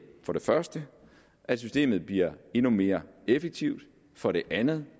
for det første at systemet bliver endnu mere effektivt for det andet